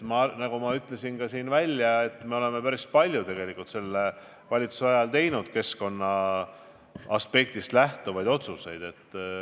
Nagu ma siin välja ütlesin, me oleme päris palju selle valitsuse ajal teinud keskkonna aspektist lähtuvaid otsuseid.